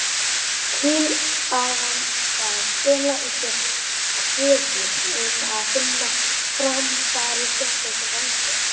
Tillagan skal fela í sér kröfu um að fram fari sérstök rannsókn.